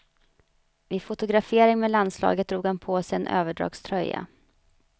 Vid fotografering med landslaget drog han på sig en överdragströja.